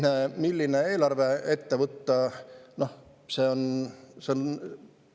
Aga milline eelarve ette võtta?